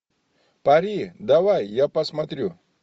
пари давай я посмотрю